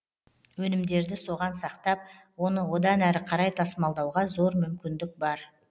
өнімдерді соған сақтап оны одан әрі қарай тасымалдауға зор мүмкіндік бар